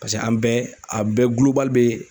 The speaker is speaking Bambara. Paseke an bɛɛ a bɛɛ bɛ